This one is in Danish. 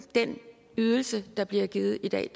ydelse der bliver givet i dag